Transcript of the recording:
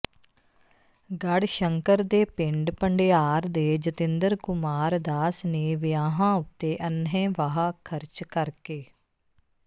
ਗੜਸ਼ੰਕਰ ਦੇ ਪਿੰਡ ਭੰਡਿਆਰ ਦੇ ਜਤਿੰਦਰ ਕੁਮਾਰ ਦਾਸ ਨੇ ਵਿਆਹਾਂ ਉੱਤੇ ਅੰਨ੍ਹੇਵਾਹ ਖਰਚ ਕਰਕੇ